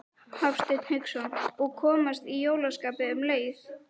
Hafsteinn Hauksson: Og komast í jólaskapið um leið?